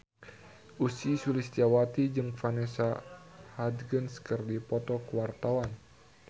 Ussy Sulistyawati jeung Vanessa Hudgens keur dipoto ku wartawan